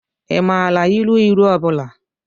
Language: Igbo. Ị maara ilu ilu ọ bụla?